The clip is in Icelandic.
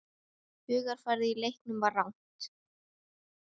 Hugarfarið í leiknum var rangt.